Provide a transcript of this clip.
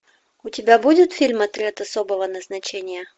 у тебя будет фильм отряд особого назначения